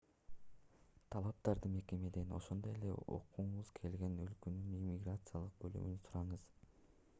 талаптарды мекемеден ошондой эле окугуңуз келген өлкөнүн иммиграциялык бөлүмүнөн сураңыз